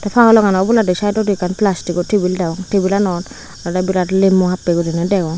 te paolongano obladi saidodi ekkan plastigo tebil degong tebilanot ado biret limo happey guriney degong.